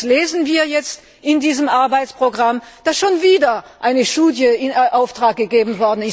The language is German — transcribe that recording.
Was lesen wir jetzt aber in diesem Arbeitsprogramm? Es wurde schon wieder eine Studie in Auftrag gegeben.